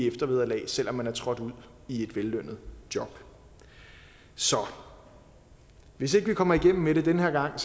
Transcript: i eftervederlag selv om man er trådt ud i et vellønnet job så hvis ikke vi kommer igennem med det den her gang